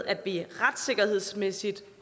at vi retssikkerhedsmæssigt